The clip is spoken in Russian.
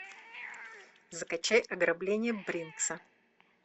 закачай ограбление бринкса